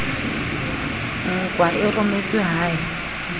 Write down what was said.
nkwa e rometswe ha e